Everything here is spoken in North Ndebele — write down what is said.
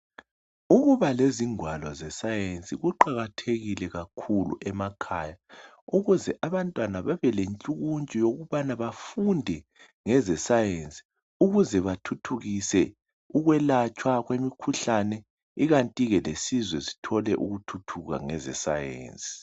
Ukuba lezingwalo ze-science kuqakathekile kakhulu emakhaya ukuze bantwana babe lentshukuntshu yokubana bafunde ngeze-science. Ukuze bathuthukise ukwelatshwa imikhuhlane kukanti ke lesizwe sithole ukuthuthuka ngeze-science.